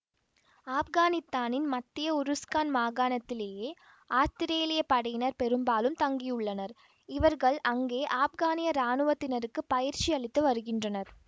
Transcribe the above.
ஆப்கானித்தானின் மத்திய உருஸ்கான் மாகாணத்திலேயே ஆத்திரேலிய படையினர் பெரும்பாலும் தங்கியுள்ளனர் இவர்கள் அங்கே ஆப்கானிய இராணுவத்தினருக்கு பயிற்சி அளித்து வருகின்றனர்